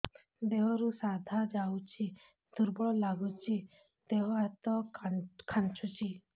ଦେହରୁ ସାଧା ଯାଉଚି ଦୁର୍ବଳ ଲାଗୁଚି ଦେହ ହାତ ଖାନ୍ଚୁଚି